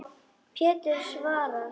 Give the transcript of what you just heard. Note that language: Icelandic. Pétur svarar.